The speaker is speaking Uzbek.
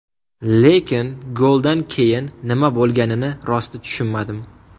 Lekin goldan keyin nima bo‘lganini rosti tushunmadim.